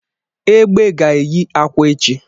Egbe ga-eyi akwa echi